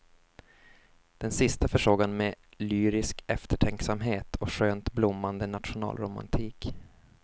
Den sista försåg han med lyrisk eftertänksamhet och skönt blommande nationalromantik.